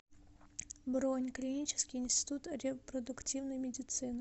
бронь клинический институт репродуктивной медицины